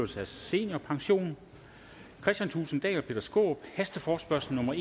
tres kristian thulesen dahl og peter skaarup hasteforespørgsel nummer